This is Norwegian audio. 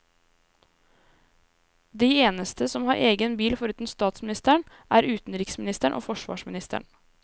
De eneste som har egen bil foruten statsministeren, er utenriksministeren og forsvarsministeren.